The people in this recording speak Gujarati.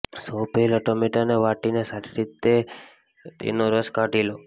સૌ પહેલા ટામેટાને વાટીને સારી રીતે તેનો રસ કાઢી લો